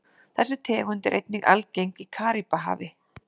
Þessi tegund er einnig algeng í Karíbahafi.